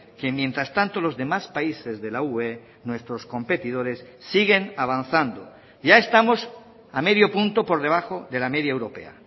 que mientras tanto los demás países de la ue nuestros competidores siguen avanzando ya estamos a medio punto por debajo de la media europea